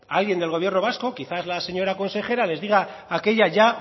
alguien del gobierno vasco quizás la señora consejera les diga aquella ya